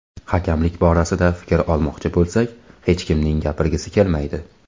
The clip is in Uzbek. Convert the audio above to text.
Hakamlik borasida fikr olmoqchi bo‘lsak, hech kimning gapirgisi kelmaydi.